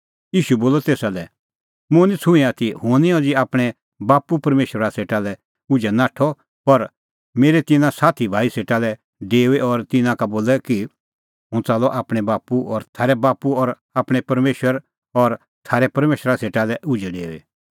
ईशू बोलअ तेसा लै मुंह निं छ़ूंऐं आथी हुंह निं अज़ी आपणैं बाप्पू परमेशरा सेटा लै उझै नाठअ पर मेरै तिन्नां साथी भाई सेटा लै डेऊ और तिन्नां का बोलै कि हुंह च़ाल्लअ आपणैं बाप्पू और थारै बाप्पू और आपणैं परमेशर और थारै परमेशरा सेटा लै उझै डेऊई